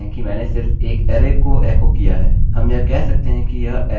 आप स्पष्ट रूप से देख सकते हैं कि मैंने सिर्फ एक अरै को एको किया है